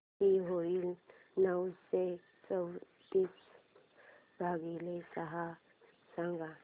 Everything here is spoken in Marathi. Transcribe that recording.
किती होईल नऊशे चोवीस भागीले सहा सांगा